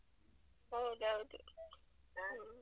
ಹೌದ್ ಹೌದು.